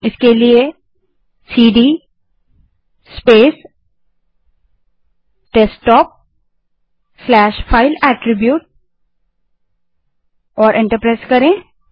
उसके लिए cd space desktop slash file attribute टाइप करें और एंटर दबायें